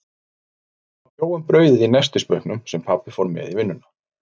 Mamma bjó um brauðið í nestisbauknum, sem pabbi fór með í vinnuna.